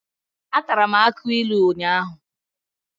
Atara m akụ ilu ụnyahụ.